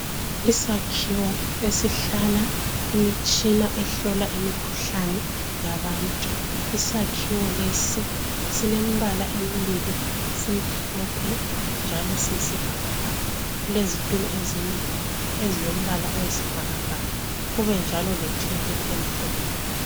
Isakhiwo esihlala imitshina ehlola imikhuhlani yabantu. Isakhiwo lesi silembala embili. Simhlophe njalo siyisibhakabhaka. Kulezitulo ezimbili ezilombala oyisibhakabhaka, kube njalo lethebuli emhlophe.